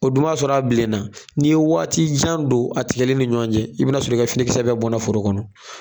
O dun b'a sɔrɔ a bilenna n'i ye waati jan don a tigɛli ni ɲɔan cɛ i bi na sɔrɔ i ka finikisɛ bɛɛ bɔnna foro kɔnɔ